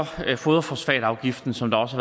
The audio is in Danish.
foderforsatafgiften som der også